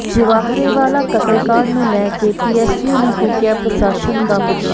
ਜਵਾਹਰੇਵਾਲਾ ਕਤਲ ਕਾਂਡ ਨੂੰ ਲੈ ਕੇ ਪੀਐੱਸਯੂ ਨੇ ਫੂਕਿਆ ਪ੍ਰਸ਼ਾਸਨ ਦਾ ਪੁਤਲਾ